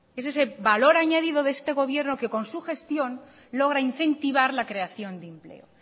es ese valor añadido de este gobierno que con su gestión logra incentivar la creación de empleo